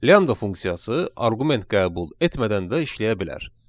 Lambda funksiyası arqument qəbul etmədən də işləyə bilər.